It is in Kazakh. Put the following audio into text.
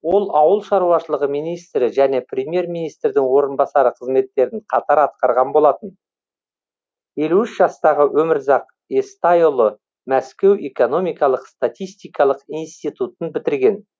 ол ауыл шаруашылығы министрі және премьер министрдің орынбасары қызметтерін қатар атқарған болатын елу үш жастағы өмірзақ естайұлы мәскеу экономикалық статистикалық институтын бітірген